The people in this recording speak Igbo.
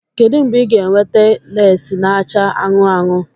Kedu mgbe ị ga-eweta lesii n'acha anụnụ anụnụ?